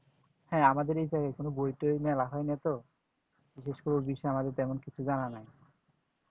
হ্যাঁ আমাদের এই জায়গায় কোন বই তই মেলা হয় না তো বিশেষ করে এই বিষয়ে তেমন কোন জানা নেই